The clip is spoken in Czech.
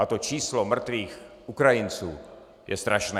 A to číslo mrtvých Ukrajinců je strašné.